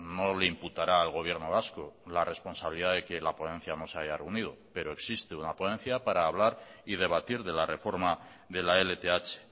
no le imputara al gobierno vasco la responsabilidad de que la ponencia no se haya reunido pero existe una ponencia para hablar y debatir de la reforma de la lth